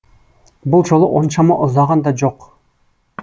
бұл жолы оншама ұзаған да жоқ